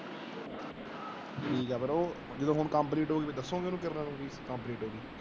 ਜਦੋ ਹੁਣ complete ਹੋ ਹੀ ਫੇਰ ਦੱਸੋਗੇ ਓਹਨੂੰ